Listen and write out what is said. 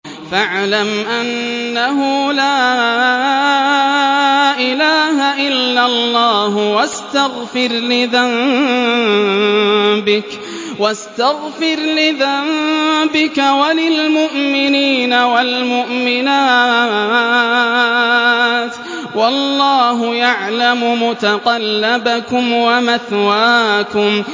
فَاعْلَمْ أَنَّهُ لَا إِلَٰهَ إِلَّا اللَّهُ وَاسْتَغْفِرْ لِذَنبِكَ وَلِلْمُؤْمِنِينَ وَالْمُؤْمِنَاتِ ۗ وَاللَّهُ يَعْلَمُ مُتَقَلَّبَكُمْ وَمَثْوَاكُمْ